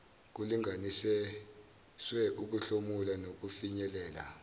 kulinganiswe ukuhlomula nokufinyelela